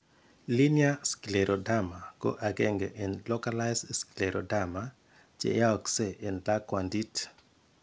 Linear scleroderma ko agenge en localized scleroderma , che yaakse en lakwantit.